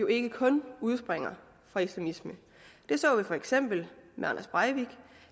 ikke kun udspringer fra islamisme det så vi for eksempel med anders breivik